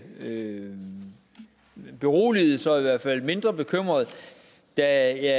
beroliget så i hvert fald mindre bekymret da jeg